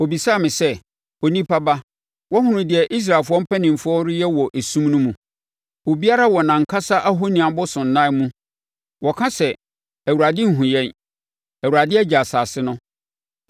Ɔbisaa me sɛ, “Onipa ba woahunu deɛ Israelfoɔ mpanimfoɔ reyɛ wɔ esum no mu. Obiara wɔ nʼankasa ahoni abosonnan mu. Wɔka sɛ, ‘ Awurade nhunu yɛn; Awurade agya asase no!’ ”